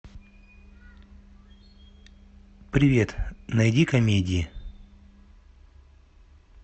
привет найди комедии